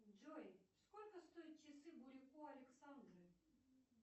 джой сколько стоят часы бурико александры